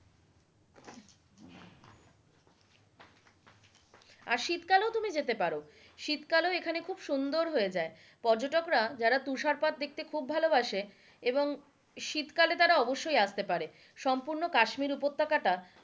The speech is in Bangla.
আর শীত কালেও তুমি যেতে পারো, শীতকালেও এখানে খুব সুন্দর হয়ে যায়, পর্যটকরা যারা তুষারপাত দেখতে খুব ভালোবাসে এবং শীতকালে তারা অবশ্যই অসতে পারে সম্পূর্ণ কাশ্মীর উপত্যকা টা,